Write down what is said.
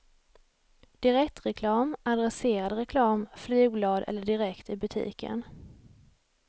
Direktreklam, adresserad reklam, flygblad eller direkt i butiken.